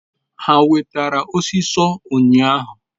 ha wetara osiso unyahu?